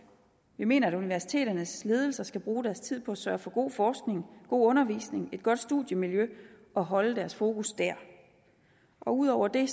vi mener at universiteternes ledelser skal bruge deres tid på at sørge for god forskning god undervisning et godt studiemiljø og holde deres fokus der ud over det